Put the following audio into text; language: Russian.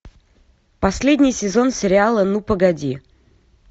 последний сезон сериала ну погоди